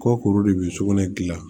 Kɔ kuru de bɛ sugunɛ gilan